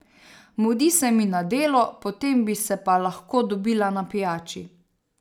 Mudi se mi na delo, potem bi se pa lahko dobila na pijači.